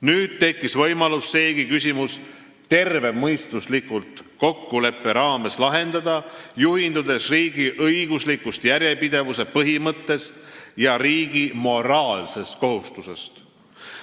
Nüüd tekkis võimalus seegi küsimus tervemõistuslikult kokkuleppe raames lahendada, juhindudes riigi õigusliku järjepidevuse põhimõttest ja riigi moraalsest kohustusest.